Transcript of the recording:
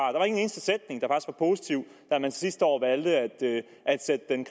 og positiv da man sidste år valgte at sætte den